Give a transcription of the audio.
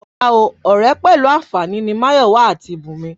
Rárá o, ọ̀rẹ́ pẹ̀lú àǹfààní lásán ni Máyọ̀wá àti Bùnmi